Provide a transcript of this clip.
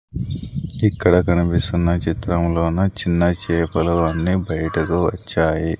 ఇక్కడ కనిపిస్తున్న చిత్రములోన చిన్న చేపలు అన్నీ బయటకు వచ్చాయి.